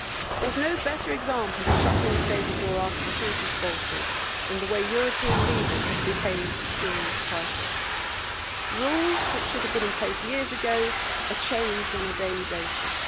There is no better example of shutting the stable door after the horse has bolted than the way European leaders have behaved during this crisis. Rules which should have been in place years ago are changed on a daily basis.